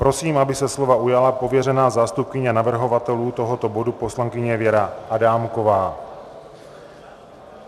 Prosím, aby se slova ujala pověřená zástupkyně navrhovatelů tohoto bodu poslankyně Věra Adámková.